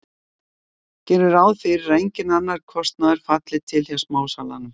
gerum ráð fyrir að enginn annar kostnaður falli til hjá smásalanum